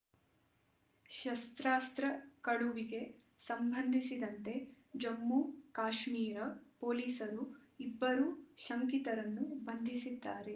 ಶಸ್ತ್ರಾಸ್ತ್ರ ಕಳುವಿಗೆ ಸಂಬಂಧಿಸಿದಂತೆ ಜಮ್ಮುಕಾಶ್ಮೀರ ಪೊಲೀಸರು ಇಬ್ಬರು ಶಂಕಿತರನ್ನು ಬಂಧಿಸಿದ್ದಾರೆ